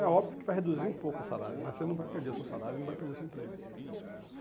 É óbvio que vai reduzir um pouco o salário, mas você não vai perder o seu salário e não vai perder o seu emprego.